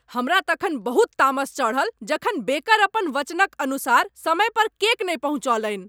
हमरा तखन बहुत तामस चढ़ल जखन बेकर अपन वचनक अनुसार समय पर केक नहि पहुँचौलनि।